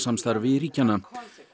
utanríkismálasamstarfi ríkjanna